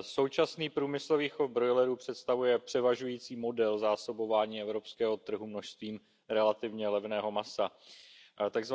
současný průmyslový chov brojlerů představuje převažující model zásobování evropského trhu množstvím relativně levného masa. Tzv.